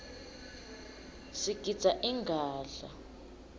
sigidza ingadla